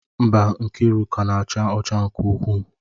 Mba, Nkiruka na-acha ọcha nke ukwuu.